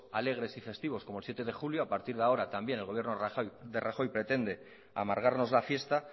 alegres y festivos como el siete de julio a partir de ahora también el gobierno de rajoy pretende amargarnos la fiesta